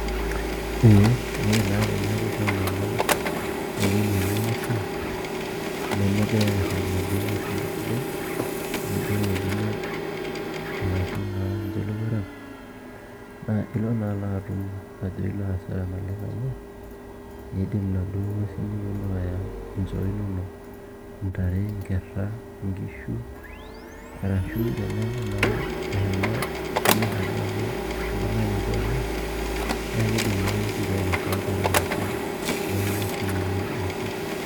Ee ore naa teneeku ishomo amany ewueji netii ng'uesi nemegirai naai aarip nena ng'uesin esidai nijio irng'ojiniak arashu naa ninche ilowuarak naa ilo naa atum ajo ilo asara naleng' amu iindim inaduo nguesin neponu aaya nchoo inonok, intare inkerra nkisu arashu teneeku naa eshomo esumash alo aaku ibung'a ninche oleng' naa kiidim naake sininche ainosa nkera ashu nekinya sininche iyie inchu.